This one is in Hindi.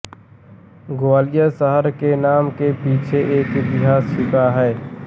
ग्वालियर शहर के नाम के पीछे एक इतिहास छिपा है